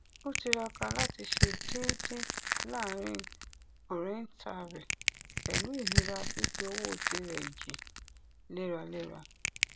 ó tiraka láti ṣe déédé láàrin ọrẹnta rẹ pẹlú ìnira fífi owó tirẹ jìn léraléra